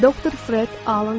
Dr. Fred Alan Wolf.